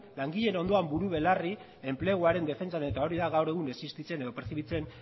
langileen ondoan buru belarri enpleguaren defentsan eta hori da gaur egun existitzen edo perzibitzen